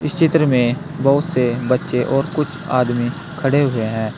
इस चित्र में बहुत से बच्चे और कुछ आदमी खड़े हुए हैं।